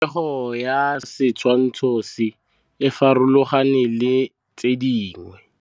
Popêgo ya setshwantshô se, e farologane le tse dingwe.